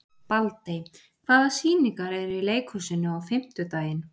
Baldey, hvaða sýningar eru í leikhúsinu á fimmtudaginn?